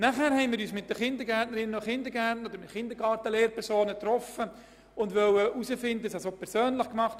Weiter haben wir uns mit den Kindergarten-Lehrpersonen getroffen, um herauszufinden, wo der Schuh drückt.